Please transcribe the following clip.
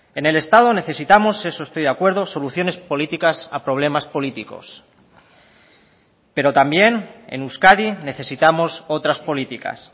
en el estado necesitamos eso estoy de acuerdo soluciones políticas a problemas políticos pero también en euskadi necesitamos otras políticas